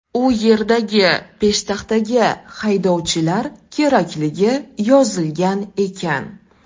U yerdagi peshtaxtaga haydovchilar kerakligi yozilgan ekan.